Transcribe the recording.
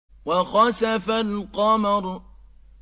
وَخَسَفَ الْقَمَرُ